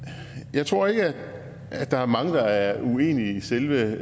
jeg tror ikke at der er mange der er uenige i selve